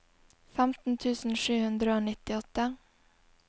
femten tusen sju hundre og nittiåtte